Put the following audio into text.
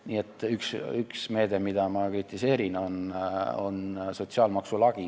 Nii et üks meede, mida ma kritiseerin, on sotsiaalmaksu lagi.